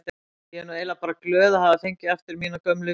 Ég er nú eiginlega bara glöð að hafa fengið aftur mína gömlu vinnu.